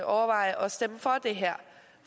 overveje at stemme for det her